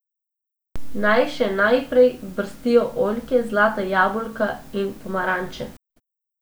Naj še naprej brstijo oljke, zlata jabolka in pomaranče.